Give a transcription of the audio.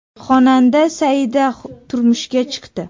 Xonanda Saida turmushga chiqdi .